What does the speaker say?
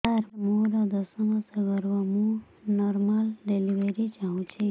ସାର ମୋର ଦଶ ମାସ ଗର୍ଭ ମୁ ନର୍ମାଲ ଡେଲିଭରୀ ଚାହୁଁଛି